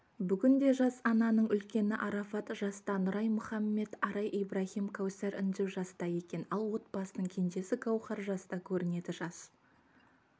бүгінде жас ананың үлкені арафат жаста нұрай мұхаммед арай ибрахим кәусар інжу жаста екен ал отбасының кенжесі гаухар жаста көрінеді жас